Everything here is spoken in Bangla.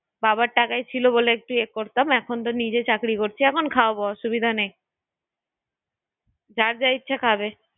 বাবার টাকায় ছিল বলে একটু এ করতাম এখন তো নিজে চাকরি করছি, এখন খাওয়াবো অসুবিধা নেই যার যা ইচ্ছে খাবে ঠিক আছে দেখবো দেখবো